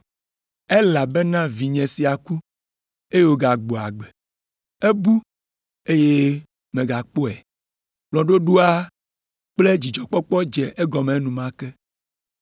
Elabena vinye sia ku, eye wògagbɔ agbe. Ebu, eye megakpɔe.’ Kplɔ̃ɖoɖoa kple dzidzɔkpɔkpɔ dze egɔme enumake.